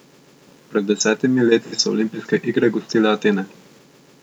Pred desetimi leti so olimpijske igre gostile Atene.